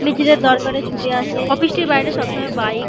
দরকারে ছুটে আসেএ অফিস টির বাইরে সবসময় বাইক --